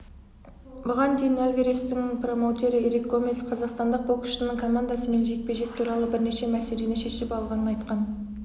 бұған дейін альварестің промоутері эрик гомес қазақстандық боксшының командасымен жекпе-жек туралы бірнеше мәселені шешіп алғанын айтқан